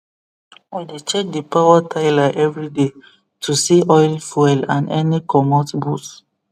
we dey check the power tiller everyday to see oil fuel and any comot bolt